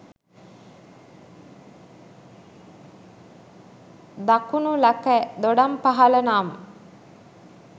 දකුණු ලකැ දොඩම්පහළ නම්